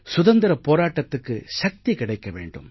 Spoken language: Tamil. சுதந்திரப் போராட்டத்துக்கு சக்தி கிடைக்க வேண்டும்